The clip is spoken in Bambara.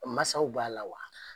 U masaw b'a la wa?